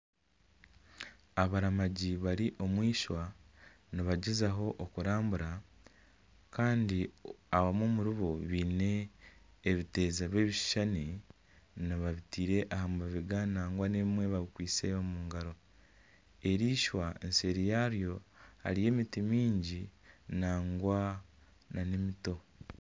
Abaramangi bari omwishwa nibagyezaho okurambura kandi abamwe omuri bo baine ebiteezo by'ebishushani babiteire aha mabega nagwa n'ebimwe baabikwitse omu ngaro, eriishwa seeri yaryo hariyo emiti mingi nagwa n'emiti.